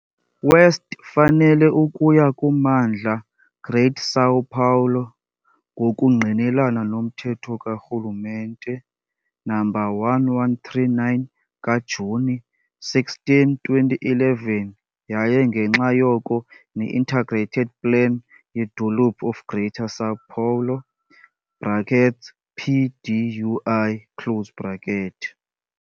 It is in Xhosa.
West fanele ukuya kummandla Greater São Paulo, ngokungqinelana nomthetho karhulumente No. 1139 ka-Juni 16, 2011 yaye ngenxa yoko ne-Integrated Plan lweDolophu of Greater São Paulo, PDUI.